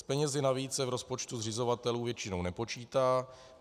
S penězi navíc se v rozpočtu zřizovatelů většinou nepočítá.